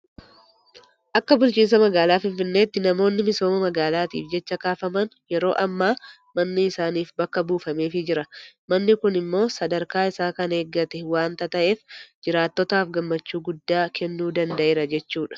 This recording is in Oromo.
Akka bulchiinsa magaalaa Finfinneetti namoonni misooma magaalaatiif jecha kaafaman yeroo ammaa manni isaaniif bakka buufameefii jira. Manni kun immoo sadarkaa isaa kan eeggate waanta ta'eef jiraattotaaf gammachuu guddaa kennuu danda'eera jechuudha.